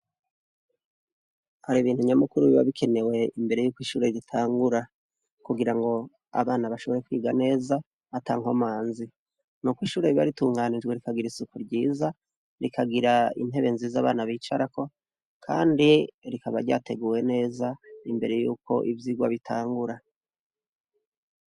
Hari ibintu nyamukuru biba bikenewe imbere y'uko ishure ritangura, kugira ngo abana bashobore kwiga neza atankomanzi, nuko ishure riba ritunganijwe, rikagira isuku ryiza, rikagira intebe nziza abana bicarako , kandi rikaba ryateguwe neza imbere y'uko ivyigwa bitangura.